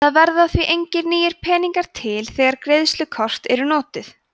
það verða því engir nýir peningar til þegar greiðslukort eru notuð